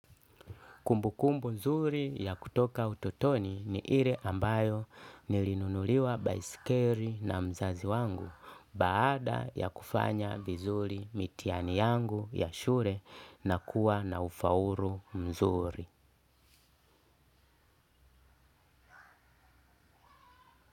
Kumbukumbu mzuri ya kutoka utotoni ni ile ambayo nilinunuliwa baisikeli na mzazi wangu baada ya kufanya vizuri mitihani yangu ya shule na kuwa na ufaulu mzuri.